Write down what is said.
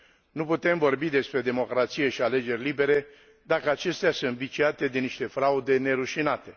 Nu putem vorbi despre democrație și alegeri libere dacă acestea sunt viciate de niște fraude nerușinate.